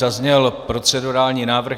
Zazněl procedurální návrh.